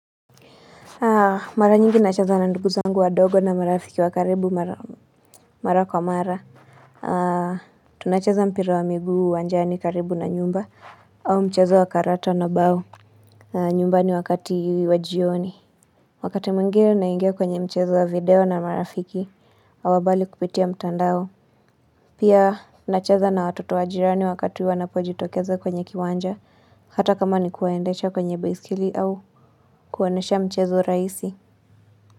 Mara nyingi nacheza na ndugu zangu wadogo na marafiki wa karibu mara kwa mara. Tunacheza mpira wa miguu uwanjani karibu na nyumba au mchezo wa karata na bao. Nyumbani wakati wa jioni wakati mwingine naingia kwenye mchezo wa video na marafiki wa mbali kupitia mtandao. Pia nacheza na watoto wa jirani wakati wanapojitokeza kwenye kiwanja. Hata kama ni kuwaendesha kwenye baiskeli au kuwaonyesha mchezo rahisi.